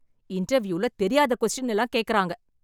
இன்டர்வியூல தெரியாத கொஸ்டின் எல்லாம் கேக்குறாங்க